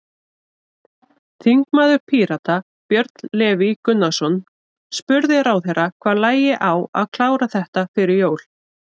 Þingmaður Pírata, Björn Leví Gunnarsson, spurði ráðherra hvað lægi á að klára þetta fyrir jól?